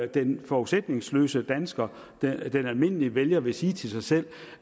den forudsætningsløse dansker den almindelige vælger vil sige til sig selv